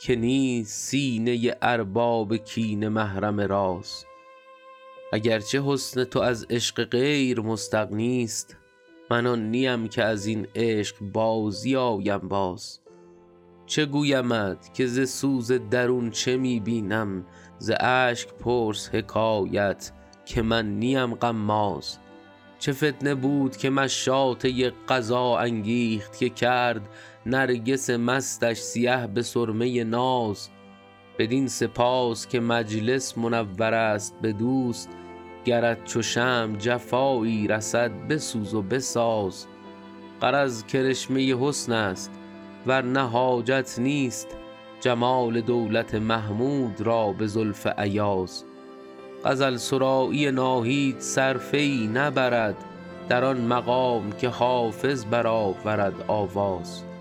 که نیست سینه ارباب کینه محرم راز اگر چه حسن تو از عشق غیر مستغنی ست من آن نیم که از این عشق بازی آیم باز چه گویمت که ز سوز درون چه می بینم ز اشک پرس حکایت که من نیم غماز چه فتنه بود که مشاطه قضا انگیخت که کرد نرگس مستش سیه به سرمه ناز بدین سپاس که مجلس منور است به دوست گرت چو شمع جفایی رسد بسوز و بساز غرض کرشمه حسن است ور نه حاجت نیست جمال دولت محمود را به زلف ایاز غزل سرایی ناهید صرفه ای نبرد در آن مقام که حافظ برآورد آواز